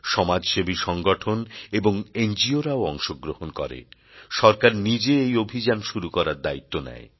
সমাজসেবী সংগঠন এবং নগো রাও অংশগ্রহণ করে সরকার নিজে এই অভিযান শুরু করার দায়িত্ব নেয়